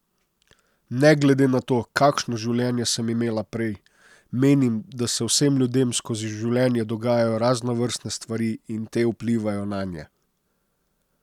Ne glede na to, kakšno življenje sem imela prej, menim, da se vsem ljudem skozi življenje dogajajo raznovrstne stvari in te vplivajo nanje.